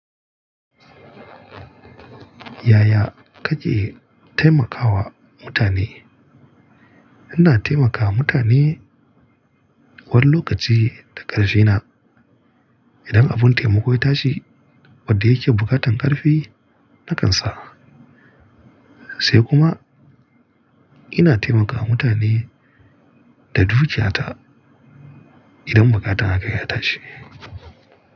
Yaya kake taimakawa mutane? Ina taimakawa mutane wani lokaci ta ƙarshena. Idan abun taimako ya tashi wadda yake buƙatan ƙarfi, na kansa. Sai kuma ina taimakawa mutane da dukiyata idan buƙatan haka ya tashi.